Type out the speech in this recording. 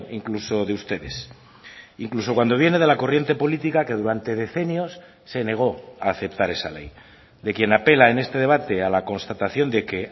incluso de ustedes incluso cuando viene de la corriente política que durante decenios se negó a aceptar esa ley de quien apela en este debate a la constatación de que